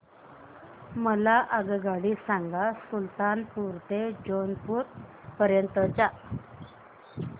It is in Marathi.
मला आगगाडी सांगा सुलतानपूर ते जौनपुर पर्यंत च्या